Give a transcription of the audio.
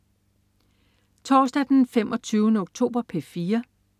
Torsdag den 25. oktober - P4: